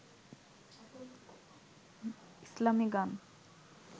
ইসলামি গান